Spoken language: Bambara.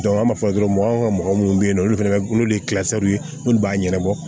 an b'a fɔ dɔrɔn anw ka mɔgɔ minnu bɛ yen nɔ olu fana bɛ n'olu ye olu b'a ɲɛnabɔ